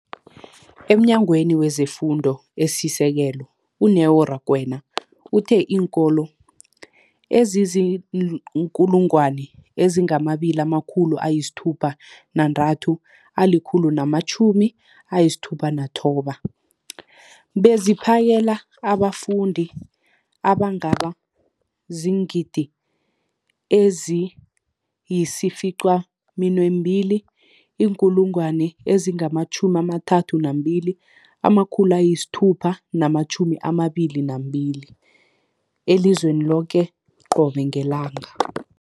EmNyangweni wezeFundo esiSekelo, u-Neo Rakwena, uthe iinkolo ezizi-20 619 zipheka beziphakele abafundi abangaba ziingidi ezili-9 032 622 elizweni loke qobe ngelanga.